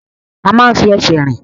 A máa ń fi ẹsẹ̀ rìn.